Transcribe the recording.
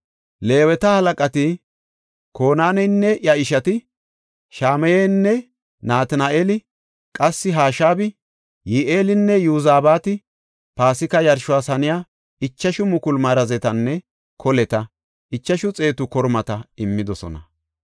Leeweta halaqati Konaaneynne iya ishati, Shamayeynne Natina7eeli, qassi Hashabi, Yi7eelinne Yozabaati Paasika yarshos haniya ichashu mukulu marazetanne koleta, ichashu xeetu kormata immidosona.